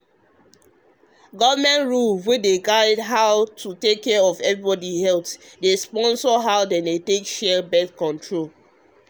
rule wey guide how to take care of everybody healthdey sponsor how dem dey share born-control.